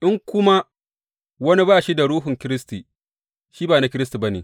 In kuma wani ba shi da Ruhun Kiristi, shi ba na Kiristi ba ne.